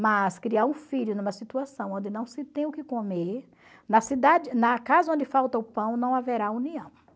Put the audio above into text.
Mas criar um filho numa situação onde não se tem o que comer, na cidade na casa onde falta o pão não haverá união.